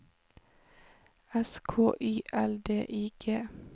S K Y L D I G